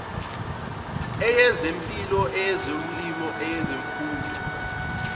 eyezempilo eyezolimo eyezemfundo